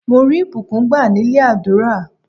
Mo rí ìbùkún gbá nílé àdúrà.